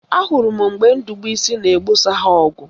Ahụrụ m mgbe Ndubuisi na-egbosa ha ọgụ